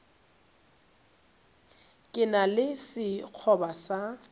ke na le sekgoba sa